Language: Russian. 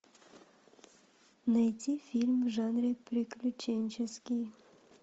найти фильм в жанре приключенческий